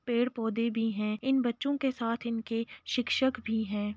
पेड़ पौधे भी हैं। इन बच्चों के साथ इनके शिक्षक भी हैं।